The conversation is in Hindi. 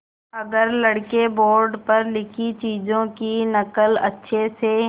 अगर लड़के बोर्ड पर लिखी चीज़ों की नकल अच्छे से